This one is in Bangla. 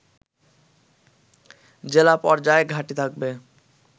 জেলা পর্যায়ে ঘাঁটি থাকবে